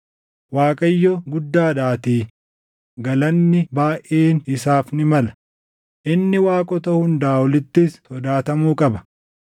Waaqayyo guddaadhaatii galanni baayʼeen isaaf ni mala; inni waaqota hundaa olittis sodaatamuu qaba.